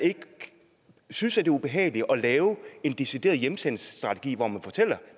synes det er ubehageligt at lave en decideret hjemsendelsesstrategi hvor man fortæller